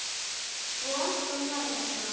Og Anton var þarna.